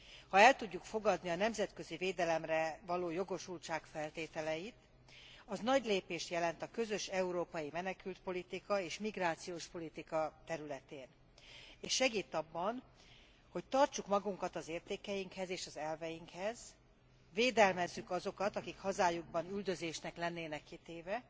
Ha el tudjuk fogadni a nemzetközi védelemre való jogosultság feltételeit, az nagy lépést jelent a közös európai menekültpolitika és a migrációs politika területén, és segít abban, hogy tartsuk magunkat az értékeinkhez és az elveinkhez, védelmezzük azokat, akik hazájukban üldözésnek lennének kitéve,